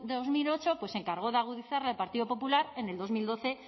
dos mil ocho pues se encargó de agudizar el partido popular en el dos mil doce